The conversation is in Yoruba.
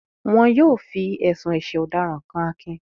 Wọn yóò fi ẹ̀sùn ẹ̀sẹ̀ ọ̀daràn kan Akin